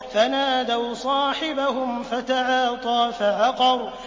فَنَادَوْا صَاحِبَهُمْ فَتَعَاطَىٰ فَعَقَرَ